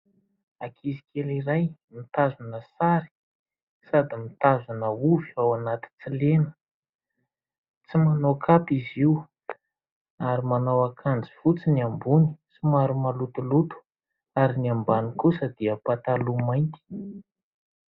Ankizy kely iray mitazona sary, sady mitazona ovy ao anaty tsy lena . Tsy manao kapa izy io ary manao akanjo fotsy ny ambony somary malotoloto ary ny ambany kosa dia manao pataloha mainty .